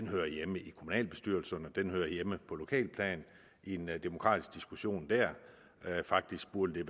hører hjemme i kommunalbestyrelserne den hører hjemme på lokalt plan i en demokratisk diskussion der faktisk burde det